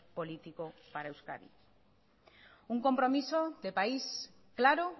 político para euskadi un compromiso de país claro